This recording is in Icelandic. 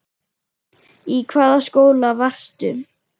Í hvaða skóla varstu?